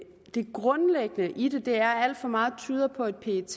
det grundlæggende i det er at alt for meget tyder på at pet